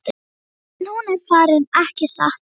En nú er hann farinn, ekki satt?